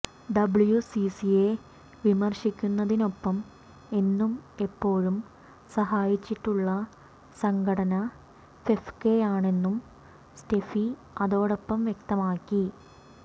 ഡബ്ല്യുസിസിയെ വിമർശിക്കുന്നതിനൊപ്പം എന്നും എപ്പോഴും സഹായിച്ചിട്ടുള്ള സംഘടന ഫെഫ്കയാണെന്നും സ്റ്റെഫി അതോടൊപ്പം വ്യക്തമാക്കി